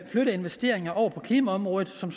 flytte investeringer over på klimaområdet som